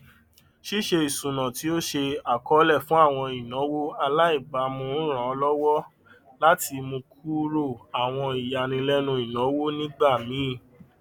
ṣíṣe isúnà tí ó ṣe àkọọlẹ fún àwọn ináwó àlàìbámu ràn lówọ láti múkúrò àwọn ìyànílẹnu ìnáwó nígbà míì